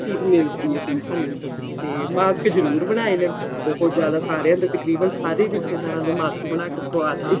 ਚੀਜ਼ ਮਿਲਦੀ ਏ ਸਾਨੂੰ ਤੇ mask ਜਰੂਰ ਬਣਾਏ ਨੇ ਬਹੁਤ ਜਿਆਦਾ ਸਾਰਿਆਂ ਦੇ ਤਕਰੀਬਨ ਸਾਰੇ ਰਿਸ਼ਤੇਦਾਰਾਂ ਦੇ mask ਬਣਾ ਕੇ ਪਵਾਤੇ